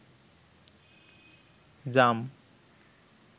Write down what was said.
জাম